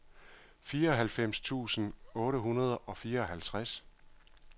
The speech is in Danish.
fireoghalvfems tusind otte hundrede og fireoghalvtreds